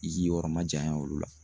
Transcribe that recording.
I k'i yɔrɔ majanya olu la